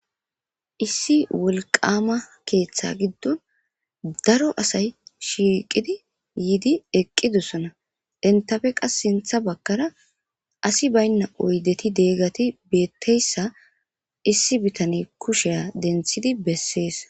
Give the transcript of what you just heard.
Issi wolqama keeththa giddon daro asay shiiqidi yiidi eqqidossona dentafe qas sintha bakkara asi baynna oydeti deeggati beetteyssa issi bitane kusheya denthidi bessees.